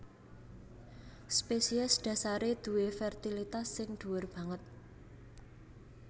Spesies dhasaré duwé fertilitas sing dhuwur banget